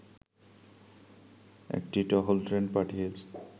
একটি টহল ট্রেন পাঠিয়ে